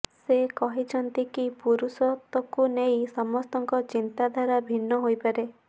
ସେ କହିଛନ୍ତି କି ପୁରୁଷତ୍ବକୁ ନେଇ ସମସ୍ତଙ୍କ ଚିନ୍ତାଧାରା ଭିନ୍ନ ହୋଇପାରେ